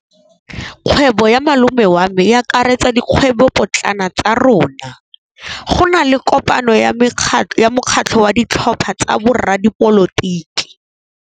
Kgwêbô ya malome wa me e akaretsa dikgwêbôpotlana tsa rona. Go na le kopanô ya mokgatlhô wa ditlhopha tsa boradipolotiki.